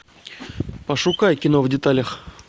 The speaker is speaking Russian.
пошукай кино в деталях